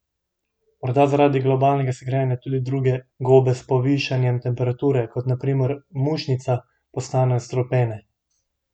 Morda zaradi globalnega segrevanja tudi druge gobe s povišanjem temperature, kot na primer mušnica, postanejo strupene?